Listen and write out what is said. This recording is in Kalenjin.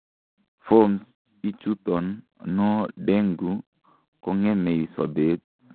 forms ichuton no dengue kongemei sobet